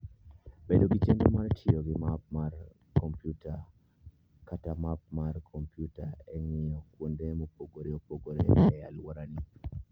Bed gi chenro mar tiyo gi map mar kompyuta kata map mar kompyuta e ng'iyo kuonde mopogore opogore e alworani.